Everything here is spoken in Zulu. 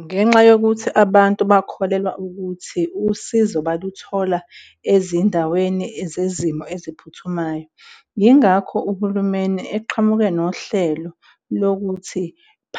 Ngenxa yokuthi abantu bakholelwa ukuthi usizo baluthola ezindaweni zezimo eziphuthumayo, yingakho uhulumeni eqhamuke nohlelo lokuthi